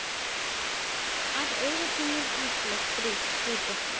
Af auga þínu haglið hrýtur.